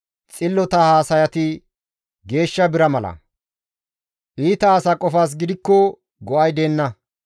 Xillota haasayati geeshsha bira mala; iita asa qofas gidikko go7ay deenna.